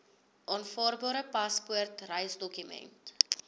aanvaarbare paspoort reisdokument